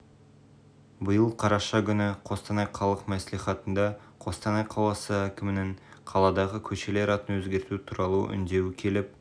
биыл қараша күні қостанай қалалық мәслихатына қостанай қаласы әкімінің қаладағы көшелер атын өзгерту туралы үндеуі келіп